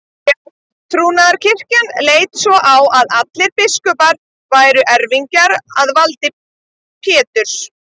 Rétttrúnaðarkirkjan leit svo á að allir biskupar væru erfingjar að valdi Péturs.